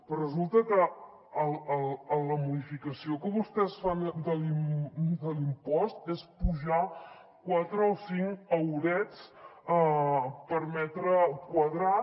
però resulta que la modificació que vostès fan de l’impost és apujar quatre o cinc eurets per metre quadrat